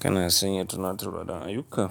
Kana sanya tunatarwa don ayuka?